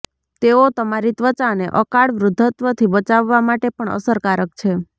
તેઓ તમારી ત્વચાને અકાળ વૃદ્ધત્વથી બચાવવા માટે પણ અસરકારક છે